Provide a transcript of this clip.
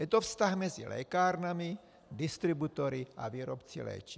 Je to vztah mezi lékárnami, distributory a výrobci léčiv.